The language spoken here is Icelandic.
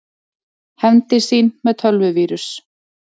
Hefndi sín með tölvuvírus